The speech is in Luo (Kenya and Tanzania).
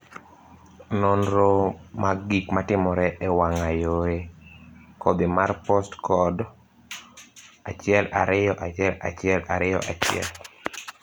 nonro mag gik matimore e wang'a yore kodhi mar postcode 121121